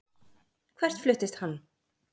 Hvert fluttist hann?